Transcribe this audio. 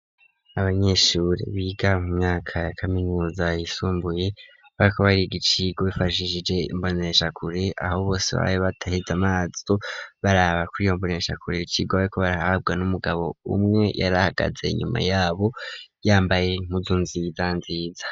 Abanyeshuri biga mu myaka ya kaminuza yisumbuye, bariko barigicigwa bifashishije imbonesha kure, ahobose babe barabishe amaso bararaba kwiyombonesha kure, icigwa bariko barahabwa n'umugabo, umwe yarahagaze inyuma yabo yambaye impuzu nziza nziza.